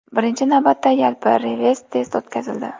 Birinchi navbatda, yalpi revers-test o‘tkazildi.